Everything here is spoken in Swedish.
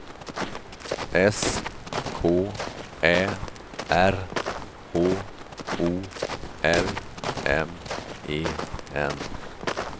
S K Ä R H O L M E N